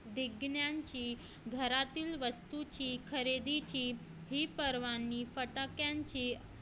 घरातील वस्तूंची खरेदीची ही पर्वणी फटाक्यांची